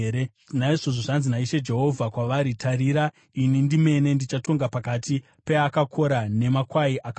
“ ‘Naizvozvo zvanzi naIshe Jehovha kwavari: Tarira, ini ndimene ndichatonga pakati peakakora nemakwai akaonda.